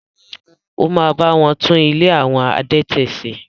Ó ma bá wọn tún “ ilé àwọn adẹtẹ̀” se.